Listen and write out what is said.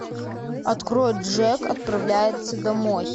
открой джек отправляется домой